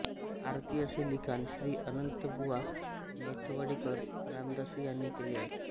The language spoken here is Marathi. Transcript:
आरती असे लिखाण श्री अनंत बुवा मेथवडेकर रामदासी यांनी केले आहे